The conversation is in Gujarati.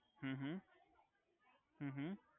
હુ હુ હુ હુ